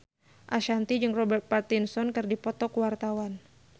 Ashanti jeung Robert Pattinson keur dipoto ku wartawan